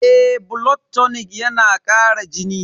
Eh, blood tonic yana kara jini.